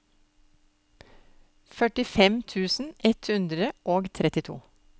førtifem tusen ett hundre og trettito